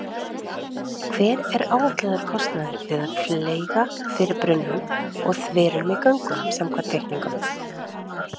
Hver er áætlaður kostnaður við að fleyga fyrir brunnum og þverunum í göngunum samkvæmt teikningum?